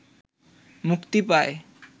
মুক্তি পায়